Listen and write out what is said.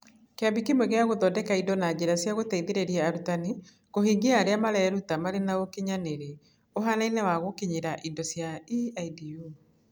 Kĩambi kĩmwe gĩa gũthondeka indo na njĩra cia gũteithĩrĩria arutani kũhingia arĩa mareruta marĩ na ũkinyanĩri ũhaanaine wa gũkinyĩra indo cia EIDU.